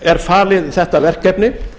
er falið þetta verkefni